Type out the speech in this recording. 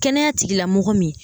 Kɛnɛya tigilamɔgɔ min